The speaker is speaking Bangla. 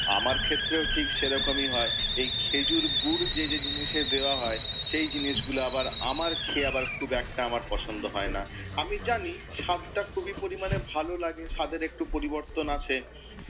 আমার ক্ষেত্রেও ঠিক সেরকমই হয়। এই খেজুর গুঁড় যে যে জিনিসে দেওয়া হয়, সেই জিনিসগুলো আবার আমার খেয়ে আবার খুব একটা আমার পছন্দ হয় না। আমি জানি স্বাদটা খুবই পরিমাণে ভালো লাগে, স্বাদের একটু পরিবর্তন আসে,